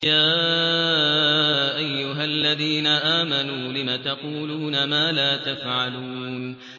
يَا أَيُّهَا الَّذِينَ آمَنُوا لِمَ تَقُولُونَ مَا لَا تَفْعَلُونَ